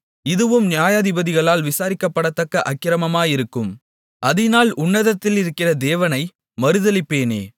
இதுவும் நியாயாதிபதிகளால் விசாரிக்கப்படத்தக்க அக்கிரமமாயிருக்கும் அதினால் உன்னதத்திலிருக்கிற தேவனை மறுதலிப்பேனே